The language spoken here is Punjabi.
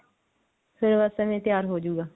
ਫੇਰ ਬਸ ਐਵੇਂ ਤਿਆਰ ਹੋਜੁਗਾ